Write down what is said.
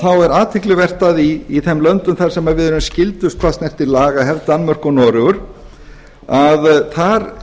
þar er athyglivert að í þeim löndum þar sem við erum skyldust hvað snertir lagahefð danmörku og noregi að þar